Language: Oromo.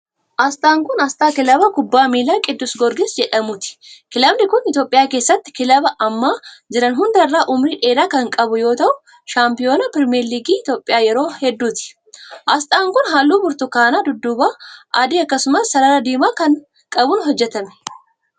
Asxaan kun, asxaa kilabii kubbaa miilaa Qiddus Giyoorgis jedhamuuti. Kilabiin kun, Itoophiyaa keessatti kilabii amma jiran hunda irra umurii dheeraa kan qabu yoo ta'u, shaampiyoonii pirimeer liigii Itoophiyaa yeroo hedduuti. Asxaan kun, haalluu burtukaana dudduuba adii akkasumas sarara diimaa qabuun hojjatame.